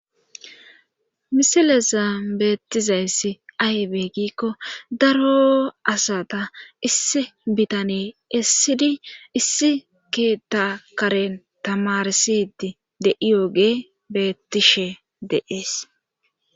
Misilesa beettizayssi aybe giikko daro asata issi bitane essidi issi keetta karen tamarsidi de7iyoge beettishe deees